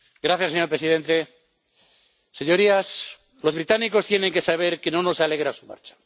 Señor presidente, señorías, los británicos tienen que saber que no nos alegra su marcha.